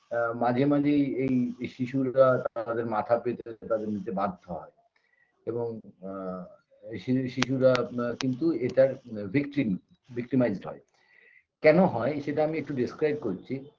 আ মাঝে মাঝেই এই শিশুরা তাদের মাথা পেতে নিতে তাদের বাধ্য হয় এবং আ এই শি শিশুরা কিন্তু এটার victim victimized হয় কেন হয় সেটা আমি একটু describe করছি